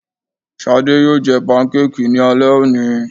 Shadé yóò jẹ pankéèkì ní alẹ́ òní